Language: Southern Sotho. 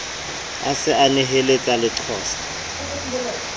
a se a neheletsa leqosa